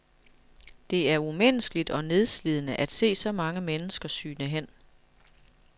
Det er umenneskeligt og nedslidende at se så mange mennesker sygne hen.